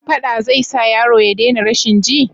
Faɗa zai sa yaro ya dena rashin ji?